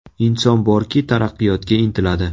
Inson borki taraqqiyotga intiladi.